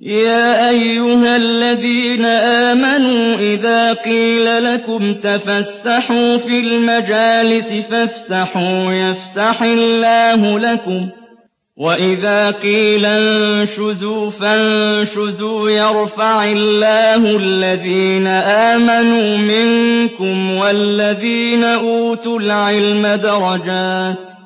يَا أَيُّهَا الَّذِينَ آمَنُوا إِذَا قِيلَ لَكُمْ تَفَسَّحُوا فِي الْمَجَالِسِ فَافْسَحُوا يَفْسَحِ اللَّهُ لَكُمْ ۖ وَإِذَا قِيلَ انشُزُوا فَانشُزُوا يَرْفَعِ اللَّهُ الَّذِينَ آمَنُوا مِنكُمْ وَالَّذِينَ أُوتُوا الْعِلْمَ دَرَجَاتٍ ۚ